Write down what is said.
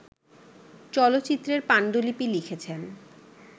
চলচ্চিত্রের পাণ্ডুলিপি লিখেছেন